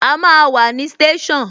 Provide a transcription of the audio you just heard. A máa wà ní station